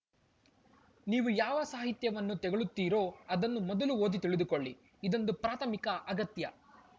ನೀವು ಯಾವ ಸಾಹಿತ್ಯವನ್ನು ತೆಗಳುತ್ತೀರೋ ಅದನ್ನು ಮೊದಲು ಓದಿ ತಿಳಿದುಕೊಳ್ಳಿ ಇದೊಂದು ಪ್ರಾಥಮಿಕ ಅಗತ್ಯ